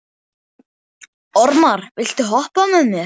Ormar, viltu hoppa með mér?